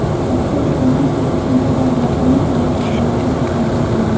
Dastur professor-o‘qituvchilar va oliy ta’lim talabalari uchun mo‘ljallangan.